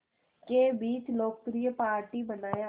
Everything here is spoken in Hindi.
के बीच लोकप्रिय पार्टी बनाया